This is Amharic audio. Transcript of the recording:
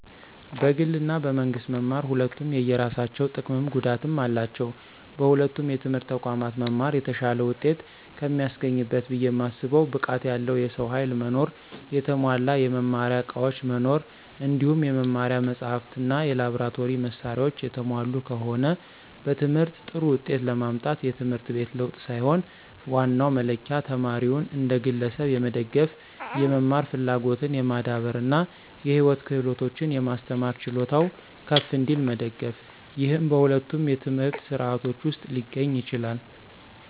በግል እና በመንግስት መማር ሁለቱም የየራሳቸው ጥቀምም ጉዳትም አላቸው። በሁለቱም የትምህርት ተቋማት መማር የተሻለ ውጤት ከሚያስገኝበት ብየ ማስበው ብቃት ያለው የሰው ኃይል መኖር፣ የተሟላ የመማሪያ ዕቃዎች መኖር እንዲሁም የመማሪያ መጻሕፍት እና የላብራቶሪ መሳሪያዎች የተሟሉ ከሆነ። በትምህርት ጥሩ ውጤት ለማምጣት የትምህርት ቤት ለውጥ ሳይሆን ዋናው መለኪያ ተማሪውን እንደ ግለሰብ የመደገፍ፣ የመማር ፍላጎትን የማዳበር እና የህይወት ክህሎቶችን የማስተማር ችሎታው ከፍ እንዲል መደገፍ፤ ይህም በሁለቱም የትምህርት ሥርዓቶች ውስጥ ሊገኝ ይችላል።